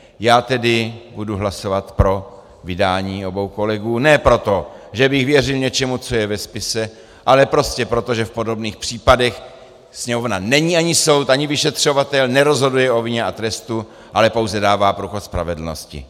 Já tedy budu hlasovat pro vydání obou kolegů ne proto, že by věřil něčemu, co je ve spise, ale prostě proto, že v podobných případech Sněmovna není ani soud, ani vyšetřovatel, nerozhoduje o vině a trestu, ale pouze dává průchod spravedlnosti.